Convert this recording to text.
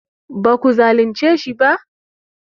ba ku zalince shi ba?